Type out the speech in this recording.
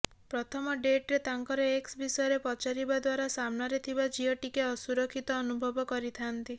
ପ୍ରଥମ ଡେଟରେ ତାଙ୍କର ଏକ୍ସ ବିଷୟରେ ପଚାରିବା ଦ୍ୱାରା ସାମନାରେ ଥିବ ଝିଅ ଟିକେ ଅସୁରକ୍ଷିତ ଅନୁଭବ କରିଥାନ୍ତି